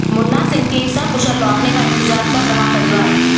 मुन्ना सिंह के सकुशल लौटने का इंतजार कर रहा परिवार